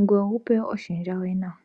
ngoye wu pewe iihupe yoye nawa.